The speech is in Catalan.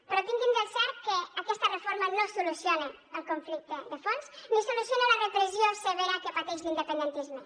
però tinguin del cert que aquesta reforma no soluciona el conflicte de fons ni soluciona la repressió severa que pateix l’independentisme